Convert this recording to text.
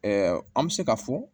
an bɛ se ka fɔ